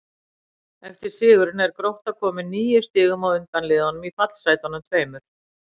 Eftir sigurinn er Grótta komin níu stigum á undan liðunum í fallsætunum tveimur.